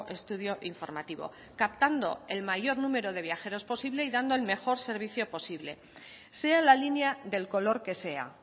estudio informativo captando el mayor número de viajeros posible y dando el mejor servicio posible sea la línea del color que sea